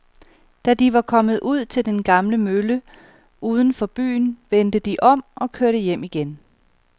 Da de var kommet ud til den gamle mølle uden for byen, vendte de om og kørte hjem igen.